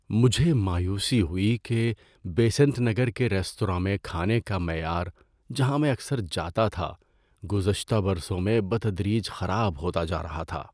مجھے مایوسی ہوئی کہ بیسنٹ نگر کے ریستوراں میں کھانے کا معیار، جہاں میں اکثر جاتا تھا، گزشتہ برسوں میں بتدریج خراب ہوتا جا رہا تھا۔